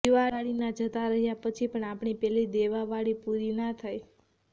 દિવાળીના જતાં રહ્યા પછી પણ આપણી પેલી દેવાવાળી પૂરી ના થાય